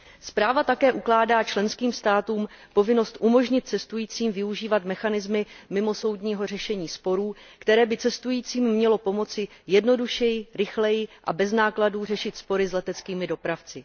Zpráva také ukládá členským státům povinnost umožnit cestujícím využívat mechanismy mimosoudního řešení sporů, které by cestujícím měly pomoci jednodušeji, rychleji a bez nákladů řešit spory s leteckými dopravci.